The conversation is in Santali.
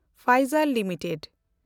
ᱯᱷᱟᱭᱡᱮᱱᱰ ᱞᱤᱢᱤᱴᱮᱰ